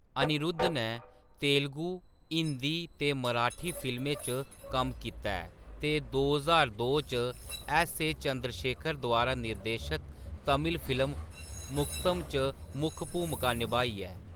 अनिरुद्ध नै तेलुगु, हिंदी ते मराठी फिल्में च कम्म कीता ऐ ते दो ज्हार दो च ऐस्स.ए. चंद्रशेखर द्वारा निर्देशित तमिल फिल्म मुत्तम च मुक्ख भूमका निभाई ऐ।